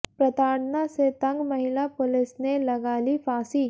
प्रताड़ना से तंग महिला पुलिस ने लगा ली फाॅसी